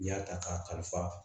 N'i y'a ta k'a kalifa